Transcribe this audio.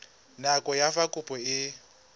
nako ya fa kopo e